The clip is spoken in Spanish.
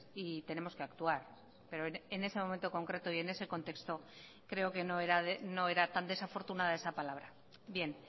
y tenemos que actuar pero en ese momento concreto y en ese contexto creo que no era tan desafortunada esa palabra bien